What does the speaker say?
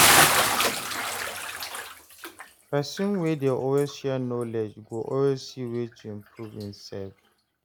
Person wey dey always share knowledge, go always see way to improve en sef.